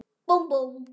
Búmm, búmm.